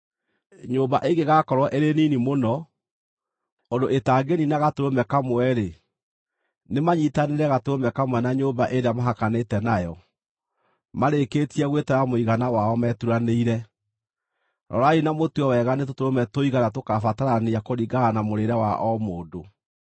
Nyũmba ĩngĩgakorwo ĩrĩ nini mũno, ũndũ ĩtangĩniina gatũrũme kamwe-rĩ, nĩmanyiitanĩre gatũrũme kamwe na nyũmba ĩrĩa mahakanĩte nayo, marĩkĩtie gwĩtara mũigana wao meturanĩire. Rorai na mũtue wega nĩ tũtũrũme tũigana tũkabatarania kũringana na mũrĩĩre wa o mũndũ.